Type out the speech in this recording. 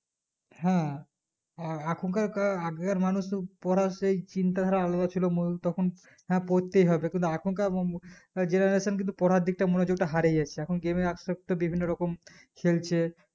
হ্যাঁ এখনকার কাআহ আগেকার মানুষ তো পড়াতেই চিন্তা ধারা আলাদা ছিল তখন হ্যাঁ পড়তেই হবে কিন্তু এখন কার বঙ্গ generation কিন্তু পড়ারদিকটা মনোযোগটা হারিয়ে যাচ্ছে এখন game এ আস্তে আস্তে বিভিন্ন রকম খেলছে